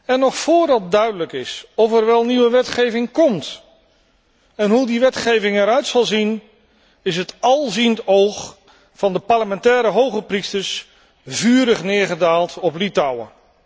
En nog voordat duidelijk is of er wel nieuwe wetgeving komt en hoe die wetgeving eruit zal zien, is het alziend oog van de parlementaire hoge priesters vurig neergedaald op Litouwen.